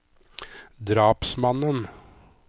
drapsmannen